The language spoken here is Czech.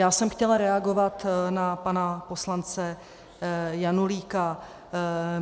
Já jsem chtěla reagovat na pana poslance Janulíka.